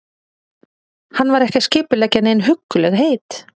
Hann var ekki að skipuleggja nein huggulegheit.